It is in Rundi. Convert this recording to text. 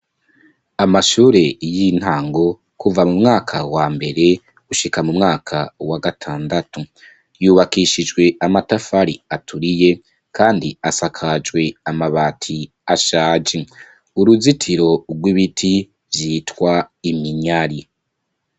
Amashure y'intango, kuva mu mwaka wa mbere gushika mu mwaka wa gatandatu, yubakishijwe Amatafari aturiye, kandi asakajwe Amabati ashaje. Uruzitiro rw'ibiti vyitwa Iminyari.